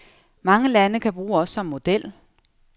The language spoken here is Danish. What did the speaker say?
Mange lande kan bruge os som model.